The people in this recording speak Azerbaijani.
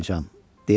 Buraxmayacam,